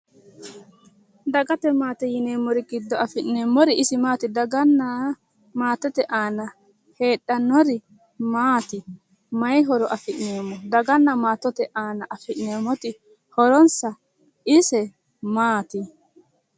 Dagate maate yineemmori giddo afi'neemmori isi maati? Daganna maatete aana heedhannori maati? Mayi horo afi'neemmo? Daganna maatete aana afi'neemmoti horonsa ise maati?